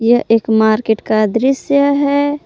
यह एक मार्केट का दृश्य है।